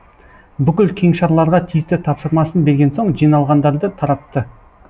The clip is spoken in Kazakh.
бүкіл кеңшарларға тиісті тапсырмасын берген соң жиналғандарды таратты